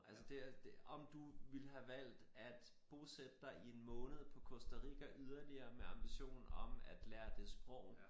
Altså det det om du ville have valgt at bosætte dig i en måned på Costa Rica yderligere med en ambition om at lære det sprog